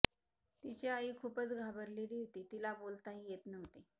तिची आई खूपच घाबरलेली होती तिला बोलताही येत नव्हते